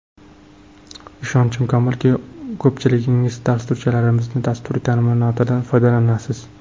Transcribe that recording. Ishonchim komilki, ko‘pchiligingiz dasturchilarimizning dasturiy ta’minotidan foydalanasiz.